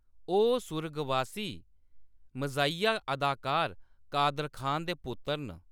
ओह्‌‌ सुरगबासी मज़ाहिया अदाकार कादर खान दे पुत्तर न।